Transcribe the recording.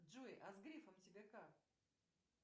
джой а с грефом тебе как